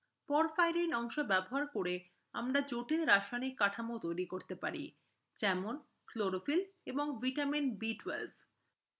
porphyrin অংশ ব্যবহার করে আমরা জটিল রাসায়নিক কাঠামো তৈরি করতে পারি: যেমন chlorophyll এবং vitamin বি b12